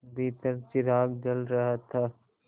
भीतर चिराग जल रहा था